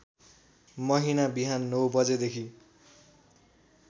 महिना बिहान ९ बजेदेखि